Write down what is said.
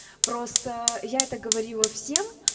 просто я это говорила всем